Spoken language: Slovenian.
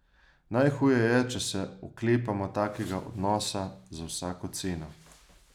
Najhuje je, če se oklepamo takega odnosa za vsako ceno.